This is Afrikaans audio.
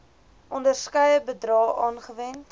onderskeie bedrae aangewend